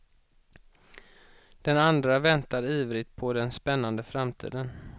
Den andra väntar ivrigt på den spännande framtiden.